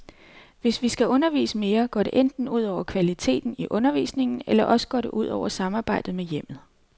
Hvis vi skal undervise mere, går det enten ud over kvaliteten i undervisningen eller også går det ud over samarbejdet med hjemmet.